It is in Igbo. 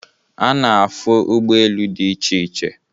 A na-afụ ụgbọelu dị iche iche